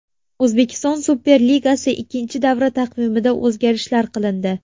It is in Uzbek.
O‘zbekiston Superligasi ikkinchi davra taqvimida o‘zgarishlar qilindi.